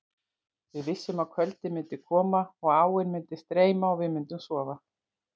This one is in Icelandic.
Við vissum að kvöldið myndi koma og áin myndi streyma og við myndum sofa.